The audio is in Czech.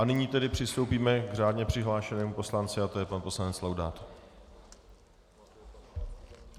A nyní tedy přistoupíme k řádně přihlášenému poslanci a to je pan poslanec Laudát.